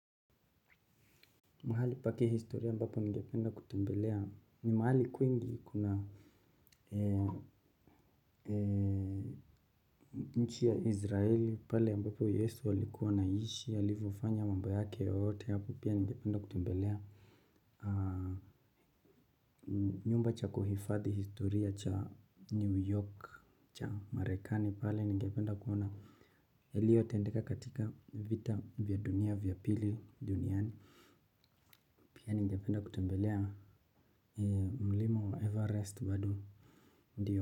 Mahali paki historia ambapo nige penda kutembelea ni mahali kuingi kuna nchi ya izraeli pale mbapo yesu alikuwa ana ishi alivyofanya mambo yake yote hapo pia ningependa kutembelea. Nyumba cha kuhifadhi historia cha new york cha marekani pale ningependa kuona yaliyo tendeka katika vita vya dunia vya pili duniani pia nige penda kutembelea Mlima Everest. Bado ndio.